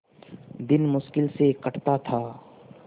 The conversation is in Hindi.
दिन मुश्किल से कटता था